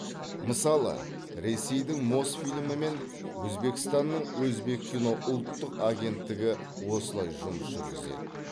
мысалы ресейдің мосфильмі мен өзбекстанның өзбеккино ұлттық агенттігі осылай жұмыс жүргізеді